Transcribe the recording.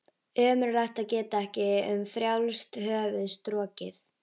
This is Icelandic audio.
Ömurlegt að geta ekki um frjálst höfuð strokið.